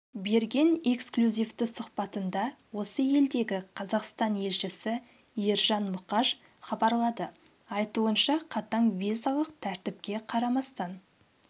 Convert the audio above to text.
берген эксклюзивті сұхбатында осы елдегі қазақстан елшісі ержан мұқаш хабарлады айтуынша қатаң визалық тәртіпке қарамастан